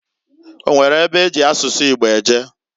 O nwere ebe eji asụsụ Igbo eje?